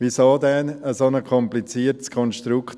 Wieso machen wir dann ein solch kompliziertes Konstrukt?